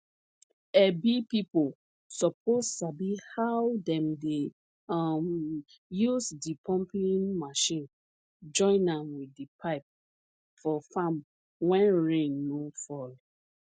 ebi pipo suppose sabi how dem dey um use di pumping mechine join am wit di pipe for farm wen rain no fall